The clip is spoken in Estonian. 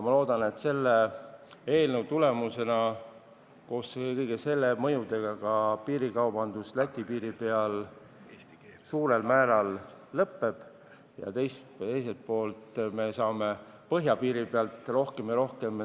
Ma loodan, et selle eelnõu tulemusena piirikaubandus Läti piiri peal suurel määral lõpeb, teiselt poolt aga tekib põhjapiiril rohkem turiste.